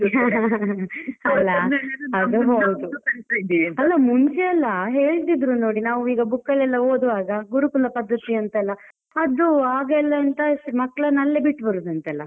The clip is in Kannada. ಅಲ್ಲಾ ಅದು ಹೌದು, ಅಲ್ಲಾ ಮುಂಚೆಯಲ್ಲ ಹೇಳ್ತಿದ್ರು ನೋಡಿ ನಾವು book ಅಲ್ಲೆಲ್ಲಾ ಓದುವಾಗ ಗುರುಕುಲ ಪದ್ದತಿ ಅಂತಯಲ್ಲ, ಅದು ಆಗಯೆಲ್ಲ ಎಂತ ಹಾಗೆಯಲ್ಲ ಮಕ್ಕಳನ್ನು ಅಲ್ಲೇ ಬಿಟ್ಟು ಬರುವುದಂತೆ ಅಲ್ಲ?